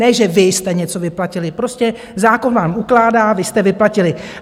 Ne že vy jste něco vyplatili, prostě zákon vám ukládá, vy jste vyplatili.